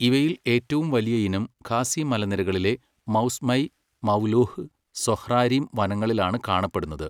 ഇവയിൽ ഏറ്റവും വലിയ ഇനം ഖാസി മലനിരകളിലെ മൗസ്മൈ, മവ്ംലുഹ്, സൊഹ്രാരിം വനങ്ങളിലാണ് കാണപ്പെടുന്നത്.